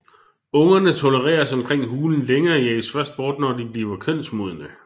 Ungerne tolereres omkring hulen længe og jages først bort når de bliver kønsmodne